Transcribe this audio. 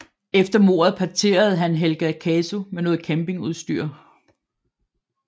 Efter mordet parterede han Helga Casu med noget campingudstyr